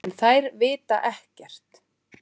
En þær vita ekkert.